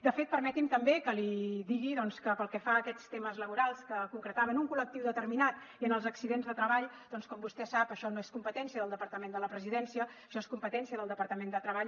de fet permeti’m també que li digui doncs que pel que fa a aquests temes laborals que concretava en un col·lectiu determinat i en els accidents de treball doncs com vostè sap això no és competència del departament de la presidència això és competència del departament de treball